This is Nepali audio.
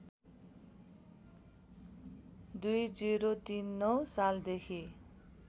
२०३९ सालदेखि